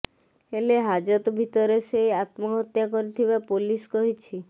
ହେଲେ ହାଜତ ଭିତରେ ସେ ଆତ୍ମହତ୍ୟା କରିଥିବା ପୋଲିସ କହିଛି